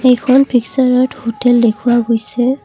এইখন পিকচাৰত হোটেল দেখুওৱা গৈছে।